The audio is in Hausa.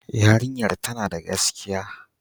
Yarinyar tana da gaskiya.